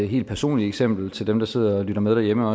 helt personligt eksempel til dem der sidder og lytter med derhjemme